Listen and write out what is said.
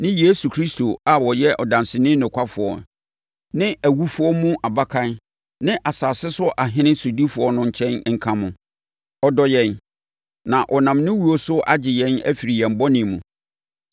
ne Yesu Kristo a ɔyɛ ɔdanseni nokwafoɔ ne awufoɔ mu abakan ne asase so ahene sodifoɔ no nkyɛn nka mo. Ɔdɔ yɛn, na ɔnam ne wuo no so agye yɛn afiri yɛn bɔne mu.